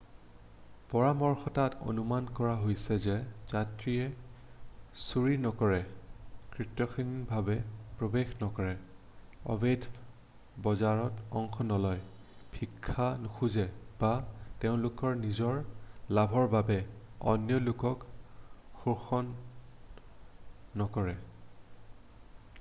পৰামৰ্শটোত অনুমান কৰা হৈছে যে যাত্ৰীয়ে চুৰি নকৰে কৰ্তৃত্বহীনভাৱে প্ৰৱেশ নকৰে অবৈধ বজাৰত অংশ নলয় ভিক্ষা নোখোজে বা তেওঁলোকৰ নিজৰ লাভৰ বাবে অন্য লোকক শোষণ নকৰে